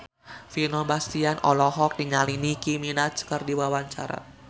Vino Bastian olohok ningali Nicky Minaj keur diwawancara